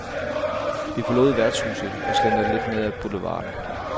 Vi forlod værtshuset og slentrede lidt ned ad boulevarden.